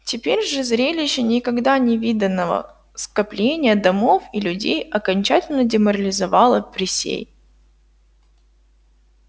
теперь же зрелище никогда не виданного скопления домов и людей окончательно деморализовало присей